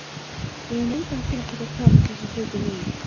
Við höfum engan tíma til að tala um þessa hluti núna.